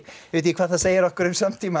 ég veit ekki hvað það segir okkur um samtíma